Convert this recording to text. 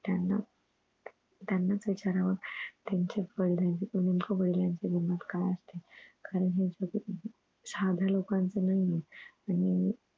त्यांना त्यांनाच विचारावं त्यांचं वडिलांची नेमकं वडिलांची किंमत काय असते खरं सांगायचं तर साध्या लोकांन सारखं नाही आहे